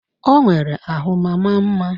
Ọ nwere ahụ ma maa mma